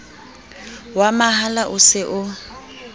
wa mahala o se o